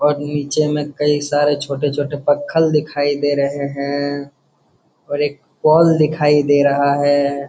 और नीचे में कई सारे छोटे छोटे पक्खल दिखाई दे रहे हैं और एक बॉल दिखाई दे रहा हैं।